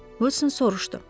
Uson soruşdu.